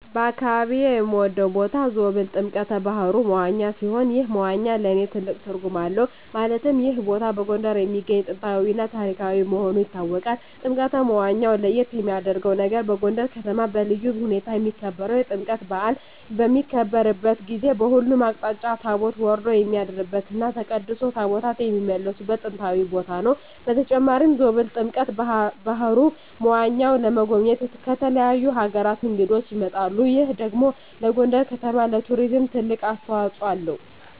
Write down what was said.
በአካባቢየ የምወደው ቦታ ዞብል ጥምቀተ ባህሩ (መዋኛ) ሲሆን ይህ መዋኛ ለእኔ ትልቅ ትርጉም አለው ማለትም ይህ ቦታ በጎንደር የሚገኝ ጥንታዊ እና ታሪካዊ መሆኑ ይታወቃል። ጥምቀተ መዋኛው ለየት የሚያረገው ነገር በጎንደር ከተማ በልዩ ሁኔታ የሚከበረው የጥምቀት በአል በሚከበርበት ጊዜ በሁሉም አቅጣጫ ታቦት ወርዶ የሚያድርበት እና ተቀድሶ ታቦታት የሚመለስበት ጥንታዊ ቦታ ነው። በተጨማሪም ዞብል ጥምቀተ በሀሩ (መዋኛው) ለመጎብኘት ከተለያዩ አገራት እንግዶች ይመጣሉ ይህ ደግሞ ለጎንደር ከተማ ለቱሪዝም ትልቅ አስተዋጽኦ አለው።